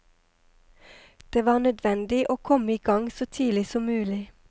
Det var nødvendig å komme i gang så tidlig som mulig.